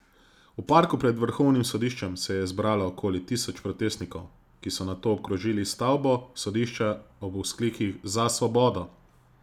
V parku pred vrhovnim sodiščem se je zbralo okoli tisoč protestnikov, ki so nato obkrožili stavbo sodišča ob vzklikih Za svobodo!